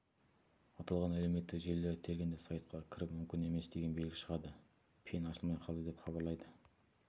аталған әлеуметтік желілерді тергенде сайтқа кіру мүмкін емес деген белгі шығады пен ашылмай қалды деп хабарлайды